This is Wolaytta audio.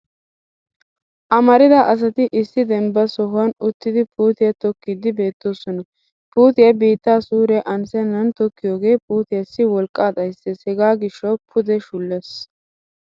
Amrida asati issi dembban sohuwan uttidi puutiya tokkiiddi beettoosona. Puutiya biittaa suure anssennan tokkiyooge puutiyassi wolqqaa xayisses hegaa gishshawu puudee shulles.